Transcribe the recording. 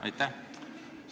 Aitäh!